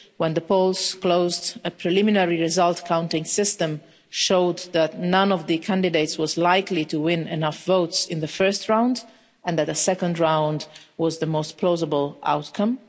When the polls closed, a preliminary results counting system showed that none of the candidates was likely to win enough votes in the first round and that a second round was the most plausible outcome.